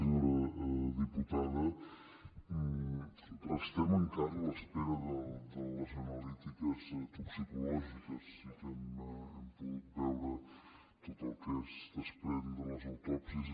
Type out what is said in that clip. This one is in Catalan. senyora diputada restem encara a l’espera de les analítiques toxicològiques sí que hem pogut veure tot el que es desprèn de les autòpsies